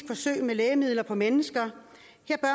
forsøg med lægemidler på mennesker